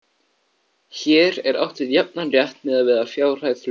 Hér er átt við jafnan rétt miðað við fjárhæð hluta.